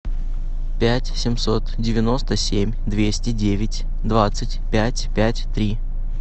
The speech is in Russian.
пять семьсот девяносто семь двести девять двадцать пять пять три